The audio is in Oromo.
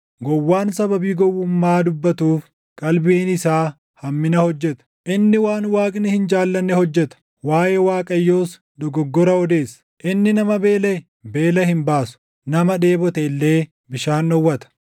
Gowwaan sababii gowwummaa dubbatuuf qalbiin isaa hammina hojjeta; inni waan Waaqni hin jaallanne hojjeta; waaʼee Waaqayyoos dogoggora odeessa; inni nama beelaʼe beela hin baasu; nama dheebote illee bishaan dhowwata.